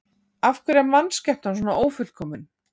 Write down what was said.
Af hverju er mannskepnan svona ófullkomin?